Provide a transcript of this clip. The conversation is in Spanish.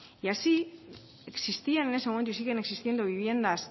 y así existían en ese momento y siguen existiendo viviendas